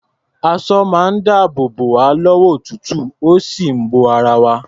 Aṣọ máa ń dáàbò bò wá lọ́wọ́ òtútù, ó sì ń bo ara wa.